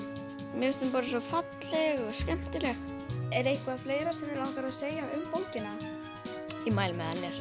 mér finnst hún bara svo falleg og skemmtileg er eitthvað fleira sem þú vilt segja um bókina ég mæli með að lesa